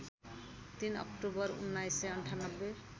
३ अक्टूबर १९९८